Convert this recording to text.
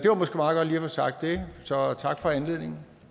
få sagt det så tak for anledningen